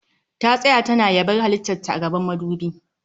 Ta tsaya tana yabar halittar ta a gaban madubi